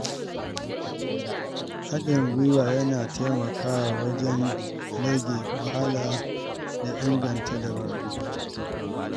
Haɗin gwiwa yana taimakawa wajen rage wahala da inganta dabaru.